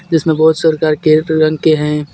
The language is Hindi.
जिसमे बहुत रंग के हे.